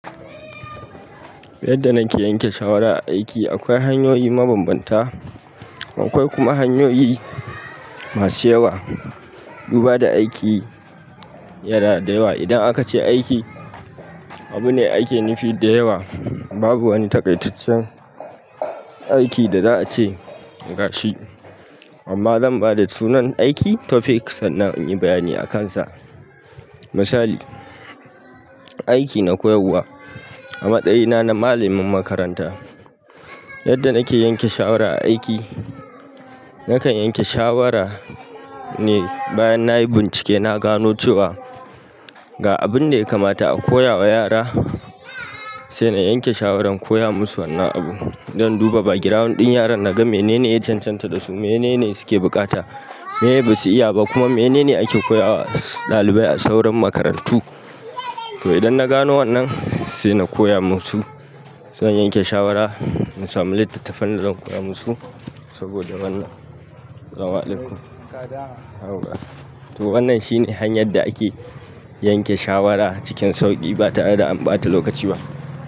Yadda nake yanke shawara a aiki, akwai hanyoyi mabambanta. Akwai kuma hanyoyi masu yawa. Duba da aiki yana da yawa. Idan aka ce aiki, abu ne ake nufi da yawa. Babu wani takaitaccen aiki da za a ce gashi. Amma zan ba da sunan aiki topic sannan in yi bayani a kansa. Misali, aiki na koyarwa a matsayina na malamin makaranta yadda nake yanke shawara a aiki, nakan yanke shawara ne bayan na yi bincike. Na gano cewa ga abin da ya kamata a koya wa yara sai na yanke shawaran koya musu wannan abu. Zan duba background ɗin yaran naga menene ya cancanta da su, menene suke buƙata, miye ba su iya ba kuma menene ake koya wa ɗalibai a sauran makarantu. To idan na gano wannan sai na koya musu. Sai in yanke shawara, na samu littattafan dazan koya musu saboda wannan. To wannan shine hanyar da ake yanke shawara cikin sauƙi ba tare da an ɓata lokaci ba.